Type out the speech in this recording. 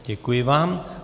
Děkuji vám.